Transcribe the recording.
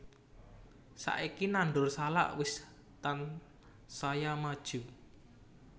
Saiki nandur salak wis tansaya maju